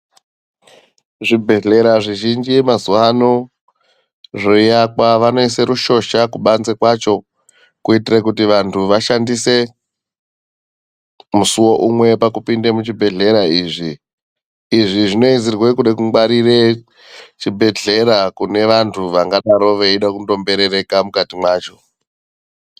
Zvibhedhlera zvizhinji mazuvano zveiakwa vanoise rushosha kubanze kwacho kuitire kuti vantu vashandise musuwo umwe pakupinda muzvibhedhlera izvi. Izvi zvinoizirwe kude kungwarire zvibhedhlera kune vantu vangadero veida kungomberereka mwukati mwacho.